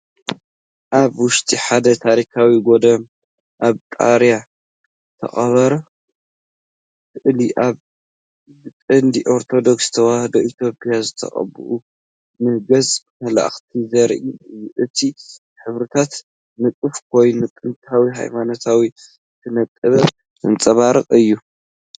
ኣብ ውሽጢ ሓደ ታሪኻዊ ገዳም ኣብ ጣርያ ዝተቐብአ ስእሊ ኣሎ። ብቅዲ ኦርቶዶክስ ተዋህዶ ኢትዮጵያ ዝተቐብኡ ን ገፅ መላእኽቲን ዘርኡ እዮም፡፡ እቲ ሕብርታት ንጡፍ ኮይኑ፡ ጥንታዊ ሃይማኖታዊ ስነ-ጥበብ ዘንጸባርቕ እዩ።